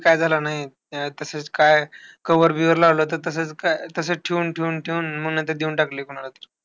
काय झालं नाय. अं तसाच काय Cover बीव्हर लावलं तर तसंच काय, तसंच ठेऊन-ठेऊन ठेऊन, मग नंतर देऊन टाकली कोणालातरी.